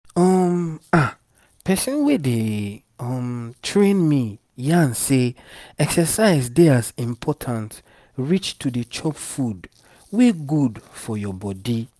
um ahh person wey dey um train me yarn say exercise dey as important reach to dey chop food wey good for your body